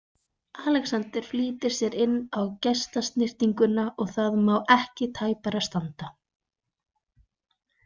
Alexander flýtir sér inn á gestasnyrtinguna og það má ekki tæpara standa.